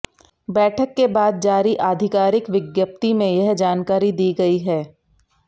बैठक के बाद जारी आधिकारिक विज्ञप्ति में यह जानकारी दी गई है